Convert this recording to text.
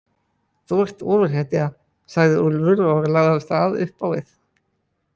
Þú ert ofurhetja, sagði Úlfur og lagði af stað upp á við.